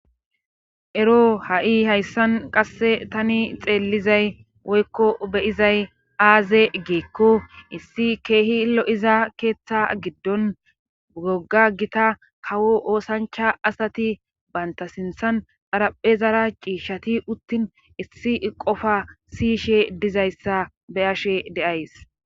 Ero ha''i hayssan qasse tani xeellizay woykko beyizay aaze geekko issi keehi lo''iza keeththa giddon gogga gita kawo oosancha asati baynta sinthan pharaphe zara ciishshati uttin issi qofa siyishe dizayssa beyashe de'ays.